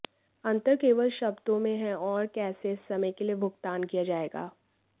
अंतर केवल शब्दों में हैं और कैसे इस समय के लिए भुगतान किया जाएगा